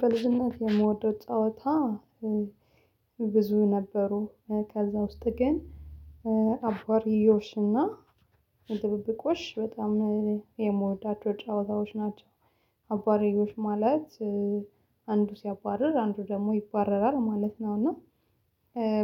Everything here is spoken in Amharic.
በልጅነት የምወደው ጫወታ ብዙ ነበሩ ከዛ ውስጥ ግን አባርዮሽና ድብብቆሽ በጣም የምወዳቸው ጨዋታዎች ናቸው። አባርዮሽ ማለት አንዱ ሲያባርር አንዱ ደግሞ ይባረራል ማለት ነው። እና